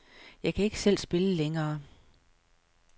Jeg kan ikke selv spille længere.